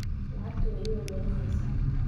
Lacagtu way i welwelineysaa.